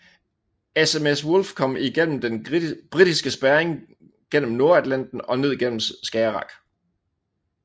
SMS Wolf kom igennem den britiske spærring gennem Nordatlanten og ned gennem Skagerrak